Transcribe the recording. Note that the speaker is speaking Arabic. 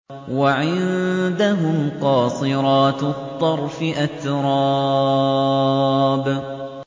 ۞ وَعِندَهُمْ قَاصِرَاتُ الطَّرْفِ أَتْرَابٌ